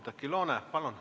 Oudekki Loone, palun!